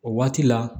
O waati la